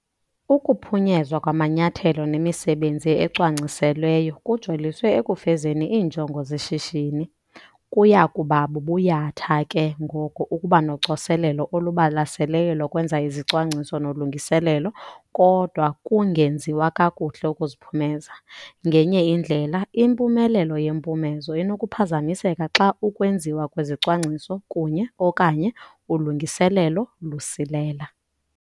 Ukuphunyezwa kwamanyathelo nemisebenzi ecwangciselweyo kujoliswe ekufezeni iinjongo zeshishini. Kuya kuba bubuyatha ke ngoko ukuba nocoselelo olubalaseleyo lokwenza izicwangciso nolungiselelo kodwa kungenziwa kakuhle ukuziphumeza. Ngenye indlela, impumelelo yempumezo inokuphazamiseka xa ukwenziwa kwezicwangciso kunye, okanye ulungiselelo lusilela.